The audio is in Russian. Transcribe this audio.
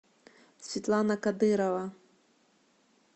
светлана кадырова